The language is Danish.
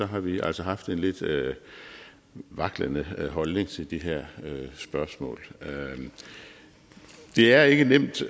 har vi altså haft en lidt vaklende holdning til det her spørgsmål det er ikke nemt